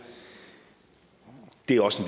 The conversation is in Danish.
det er også